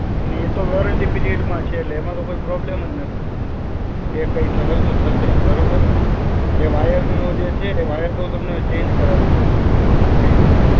ને એ તો warranty period માં છે. લેમાં તો કઈ problem જ નથી. કે કઈ ઠગસો થસે. બરોબર? એ વાયર નો જે છે વાયર તો તમને ચેન્જ કરાવી દઉં છું fridge નો.